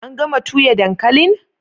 An gama tuya dankalin?